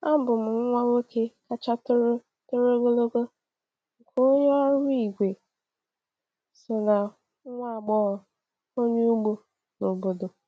Abụ m nwa nwoke kacha toro toro ogologo nke onye ọrụ igwe saw na nwa agbọghọ onye ugbo n’obodo.